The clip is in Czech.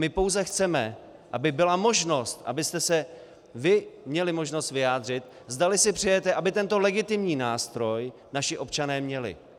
My pouze chceme, aby byla možnost, abyste se vy měli možnost vyjádřit, zdali si přejete, aby tento legitimní nástroj naši občané měli.